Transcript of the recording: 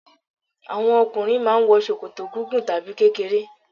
Àwọn okùnrin mà a n wo ṣòkòtò gígùn tàbí kékeré